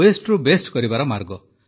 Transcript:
ୱେଷ୍ଟରୁ best କରିବାର ମାର୍ଗ